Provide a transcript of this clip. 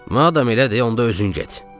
Madam elədir, onda özün get.